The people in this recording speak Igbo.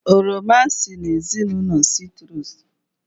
Oroma si n'ezinụlọ sitrus